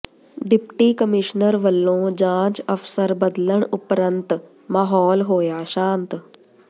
deputy commissioner ਵੱਲੋਂ ਜਾਂਚ ਅਫ਼ਸਰ ਬਦਲਣ ਉਪਰੰਤ ਮਾਹੌਲ ਹੋਇਆ ਸ਼ਾਂਤ